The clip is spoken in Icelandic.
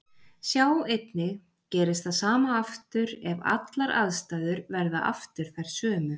Sjá einnig Gerist það sama aftur ef allar aðstæður verða aftur þær sömu?